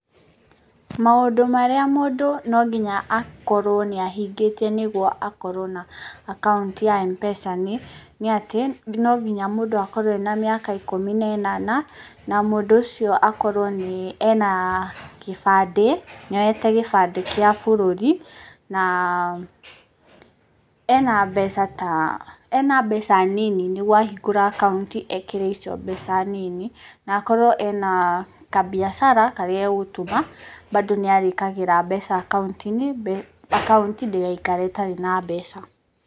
Maũndũ marĩa mũndũ no nginya akorwo nĩ ahingĩtie nĩguo akorwo na akaunti ya M-PESA nĩ, nĩ atĩ no nginya mũndũ akorwo ena mĩaka ikũmi na ĩnana, na mũndũ ũcio akorwo nĩ ena kĩbandĩ, nĩ oyete gĩbandĩ kĩa bũrũri, na ena mbeca ta, ena mbeca nini nĩguo ahingũra akaunti ekĩre icio mbeca nini, na akorwo ena kabiacara karĩa gegũtũma bando nĩ arĩkĩraga mbeca akaunti-inĩ, akaunti ndĩgaikare ĩtgarĩ na mbeca.